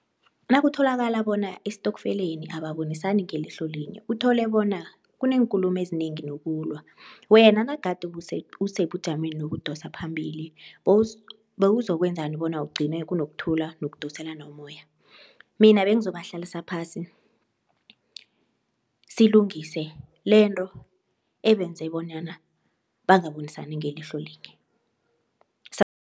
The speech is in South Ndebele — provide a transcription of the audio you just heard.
Nakutholakala bona estokfeleni ababonisani ngelihlo linye uthole bona kuneenkulumo ezinengi nokulwa wena nagade usebujameni ukudosa phambili bowuzokwenzani bona kugcine kunokuthula nokudosana nomoya? Mina bengizobahlalisa phasi silungise lento ebenze bonyana bangabonisani ngelihlo linye sa